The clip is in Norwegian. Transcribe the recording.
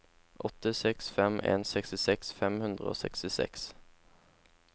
åtte seks fem en sekstiseks fem hundre og sekstiseks